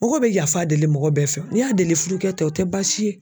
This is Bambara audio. Mɔgɔ bɛ yafa deli mɔgɔ bɛɛ fɛ o n'i y'a deli i fudukɛ tɛ o tɛ baasi ye.